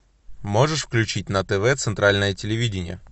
можешь включить на тв центральное телевидение